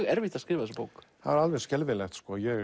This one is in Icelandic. erfitt að skrifa þessa bók það var alveg skelfilegt